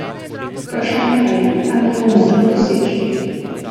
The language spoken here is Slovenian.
Vprašanje pa je, ali jih bo možno doseči.